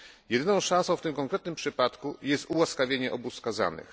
Jedyną szansą w tym konkretnym przypadku jest ułaskawienie obu skazanych.